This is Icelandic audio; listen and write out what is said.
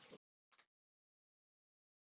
Hrund: Spilar kostnaður inn í svona ákvarðanir?